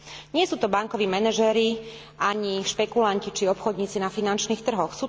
Nie sú to bankoví manažéri, ani špekulanti či obchodníci na finančných trhoch.